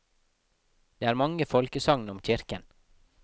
Det er mange folkesagn om kirken.